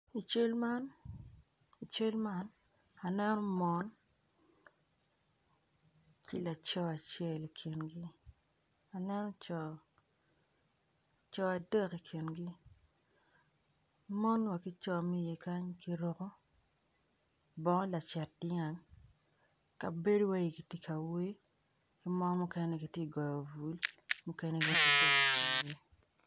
I cal man aneno mon ki laco acel i kingi aneno co adek i kingi mon wa ki co ma kany guruko bongo lacet dyang bedo wai gitye ka wer mon tye ka goyo bul.